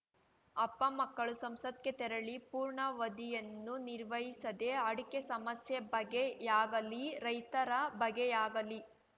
ಅಪ್ಪ ಮಕ್ಕಳು ಸಂಸತ್‌ಗೆ ತೆರಳಿ ಪೂರ್ಣಾವಧಿಯನ್ನು ನಿರ್ವಹಿಸದೇ ಅಡಕೆ ಸಮಸ್ಯೆ ಬಗ್ಗೆಯಾಗಲೀ ರೈತರ ಬಗ್ಗೆಯಾಗಲೀ